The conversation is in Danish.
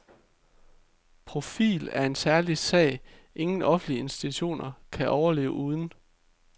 Profil er en ærlig sag, ingen offentlig institution kan overleve uden.